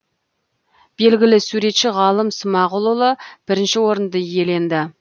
белгілі суретші ғалым смағұлұлы бірінші орынды иеленді